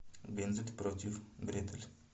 гензель против гретель